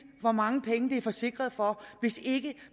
hvor mange penge det er forsikret for hvis ikke